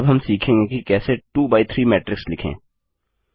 अब हम सीखेंगे कि कैसे 2 बाय 3 मैट्रिक्स लिखें